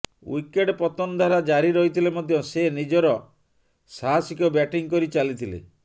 wicket ପତନ ଧାରା ଜାରି ରହିଥିଲେ ମଧ୍ୟ ସେ ନିଜ ସାହସିକ ବ୍ୟାଟିଂ କରି ଚାଲିଥିଲେ